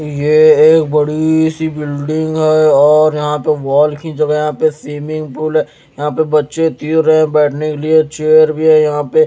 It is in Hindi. यह एक बड़ी सी बिल्डिंग है और यहां पे वॉल की जगह यहां पे स्विमिंग पूल है यहां पे बच्चे तीर रहे हैं बैठने के लिए चेयर भी है यहां पे--